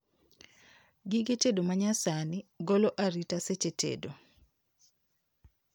Gige tedo manyasani golo arita seche tedo